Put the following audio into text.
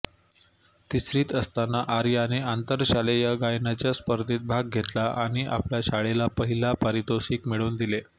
तिसरीत असताना आर्याने आंतरशालेय गायनाच्या स्पर्धेत भाग घेतला आणि आपल्या शाळेला पहिले पारितोषिक मिळवून दिले